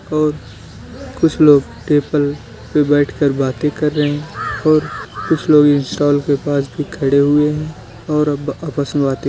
और कुछ लोग टेबल पे बैठकर बातें कर रहे हैं और कुछ लोग इंस्टॉल के पास भी खड़े हुए हैं और अब आपस में बातें --